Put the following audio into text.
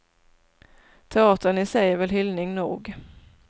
Teatern i sig är väl hyllning nog.